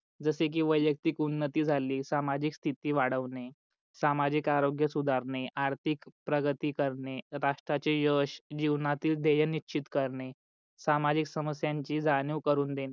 जस की वैयक्तिक उन्नती झाली, सामाजिक स्थिति वाडवणे, सामाजिक आरोग्य सुधारणे, आर्थिक प्रगती करणे, राष्ट्रांचे यश जीवनातील ध्येय निश्चित करणे, सामाजिक समस्याची जाणीव करून देणे